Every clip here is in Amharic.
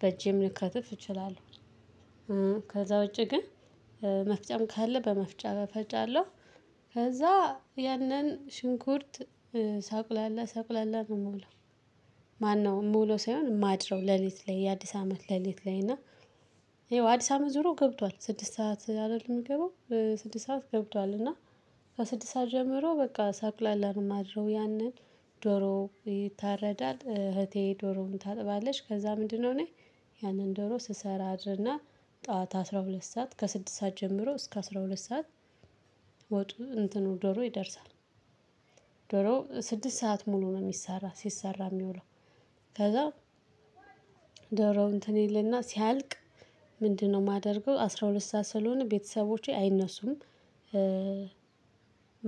በእጄም ልከትፍ እችላለሁ። ከዛ ውጪ ግን መፍጫም ካለ በመፍጫ እፈጫለሁ። ከዛ- ያንን ሽንኩርት ሳቁላላ ሳቁላላ ነው የምውለው። ማነው የምውለው ሳይሆን ማድረው ሌሊት ላይ የአዲስ አመት ሌሊት ላይ እና ያው አዲስ አመት ዙሮ ገብቷል ስድስት ሰዓት አይደለም የሚገባው ስድስት ሰዓት ገብቷል። እና ከስድስት ሰዓት ጀምሮ በቃ ሳቁላላ ነው ማድረው። ያንን- ዶሮ ይታረዳል። እህቴ ዶሮውን ታጥባለች። ከዛ ምንድነው እኔ- ያንን ደሮ ስሰራ አድር ና ጠዋት አስራ ሁለት ሰዓት ከስድስት ሰዓት ጀምሮ እስከ አስራ ሁለት ሰዓት ወጡ እንትኑ ዶሮ ይደርሳል። ዶሮ ስድስት ሰዓት ሙሉ ነው የሚሰራ ሲሰራ የሚውለው። ከዛ- ደሮው እንትን ይል ና ሲያልቅ- ምንድነው የማደርገው አስራ ሁለት ሰዓት ስለሆነ ቤተሰቦቼ አይነሱም-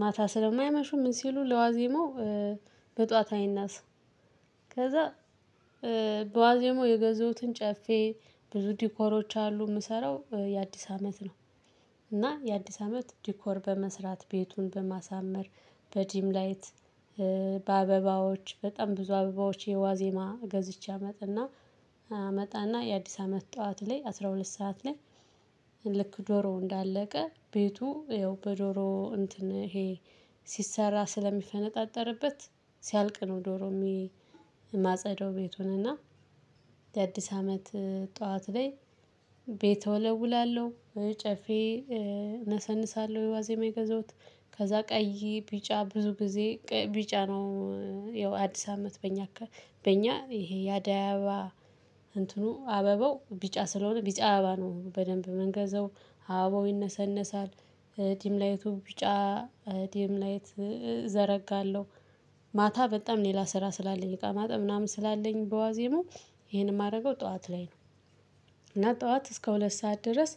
ማታ ስለሚያመሹ ምን ሲሉ ለዋዜማው በጧት አይነሱም። ከዛ በዋዜማው የገዙትን ጨፌ ብዙ ዲኮሮች አሉ የምሰራው የአዲስ አመት ነው። እና የአዲስ አመት ዲኮር በመስራት ቤቱን በማሳመር በዲም ላይት- በአበባዎች በጣም ብዙ አበባዎች የዋዜማ ገዝቼ አመጣ እና አመጣና የአዲስ አመት ጠዋት ላይ አስራ ሁለት ሰዓት ላይ- ልክ ዶሮ እንዳለቀ ቤቱ ያው በዶሮ እንትን ይሄ ሲሰራ ስለሚፈነጣጠርበት ሲያልቅ ነው ዶሮሜ ማጸዳው ቤቱን እና- የአዲስ አመት ጠዋት ላይ ቤት ወለውላለሁ ጨፌ እነሰንሳለሁ የዋዜማ የገዛሁት ከዛ ቀይ ቢጫ ብዙ ጊዜ ቢጫ ነው- ያው አዲስ አመት በእኛ በእኛ ይሄ ያዳባ እንትኑ አበባው ቢጫ ስለሆነ ቢጫ አበባ ነው በደንብ ምንገዘው። አበባው ይነሰነሳል። ዲም ላይቱ ቢጫ ዲም ላይት እዘረጋለሁ። ማታ በጣም ሌላ ስራ ስላለኝ እቃ ማጥብ ምናምን ስላለኝ በዋዜማ ይሄን የማደርገው ጠዋት ላይ ነው። እና ጠዋት እስከ ሁለት ሰዓት ድረስ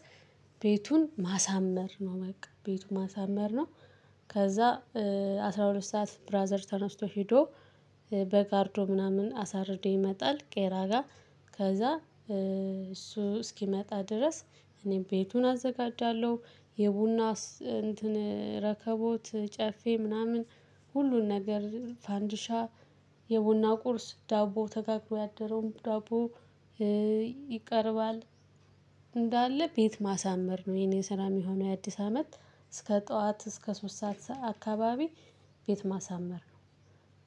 ቤቱን ማሳመር ነው በቃ ቤቱ ማሳመር ነው። ከዛ አስራ ሁለት ሰዓት ብራዘር ተነስቶ ሄዶ በግ አርዶ ምናምን አሳርዶ ይመጣል ቄራ ጋር።- ከዛ እሱ እስኪመጣ ድረስ እኔ ቤቱን አዘጋጃለሁ። የቡና እንትን ረከቦት :ጨፌ ምናምን ሁሉን ነገር ፋንዲሻ :የቦና ቁርስ: ዳቦ ተጋግሮ ያደረገውን ዳቦ ይቀርባል። እንዳለ ቤት ማሳመር ነው የኔ ስራ የሚሆነው። የአዲስ አመት እስከ ጠዋት እስከ ሶስት ሰዓት አካባቢ ቤት ማሳመር ነው።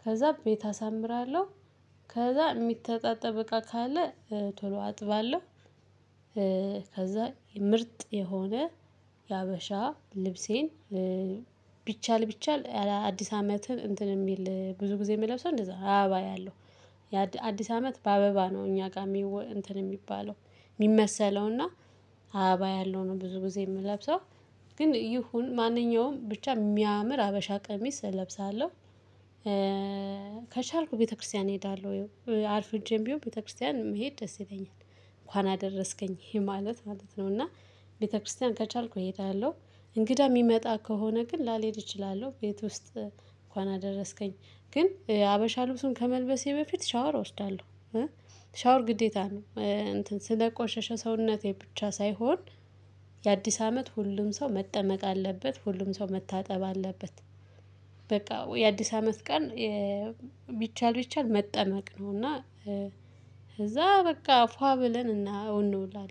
ከዛ ቤት አሳምራለሁ። ከዛ የሚተጣጠብ እቃ ካለ ቶሎ አጥባለሁ። ከዛ ምርጥ የሆነ የሀበሻ ልብሴን- ቢቻል ቢቻል አዲስ አመት እንትን የሚል ብዙ ጊዜ የምለብሰው እንደዛ አበባ ያለው የአዲስ አመት በአበባ ነው እኛ ጋር እንትን የሚባለው የሚመሰለው እና አበባ ያለው ነው ብዙ ጊዜ የምለብሰው። ግን ይሁን ማንኛውም ብቻ የሚያምር ሀበሻ ቀሚስ እለብሳለሁ። ከቻልኩ ቤተክርስቲያን እሄዳለሁ። አርፍጄም ቢሆን ቤተክርስቲያን መሄድ ደስ ይለኛል። እንኳን አደረስከኝ ይሄ ማለት ማለት ነው። እና- ቤተክርስቲያን ከቻልኩ እሄዳለሁ። እንግዳ የሚመጣ ከሆነ ግን ላልሄድ እችላለሁ። ቤት ውስጥ እንኳን አደረስከኝ ግን ሀበሻ ልብሱን ከመልበሴ በፊት ሻወር እወስዳለሁ። ሻወር ግዴታ ነው። እንትን ስለ ቆሻሻ ሰውነቴ ብቻ ሳይሆን- የአዲስ አመት ሁሉም ሰው መጠመቅ አለበት። ሁሉም ሰው መታጠብ አለበት። በቃ የአዲስ አመት ቀን ቢቻል ቢቻል መጠመቅ ነው እና- እዛ በቃ ፉአ ብልን እና እንውላለን።